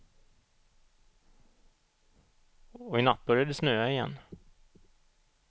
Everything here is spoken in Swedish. Och i natt började det snöa igen.